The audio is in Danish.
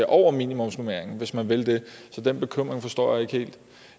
over minimumsnormeringen hvis man vil det så den bekymring forstår jeg ikke helt